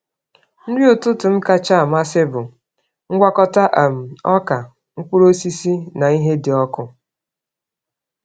Nri ụtụtụ m kacha amasị bụ ngwakọta um ọka, mkpụrụ osisi, na ihe dị ọkụ.